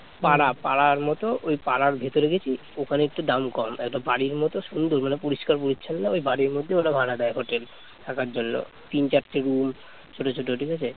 পাড়ার মতো ওই পাড়ার ভিতরে গেছি ওখানে একটু দাম কম একটা বাড়ির মত সুন্দর মানে পরিষ্কার পরিচ্ছন্ন ওই বাড়ির মধ্যে ওরা ভাড়া দেয় হোটেল থাকার জন্য তিন-চারটে রুম ছোট ছোট ঠিক আছে